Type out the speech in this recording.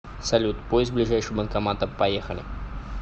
салют поиск ближайшего банкомата поехали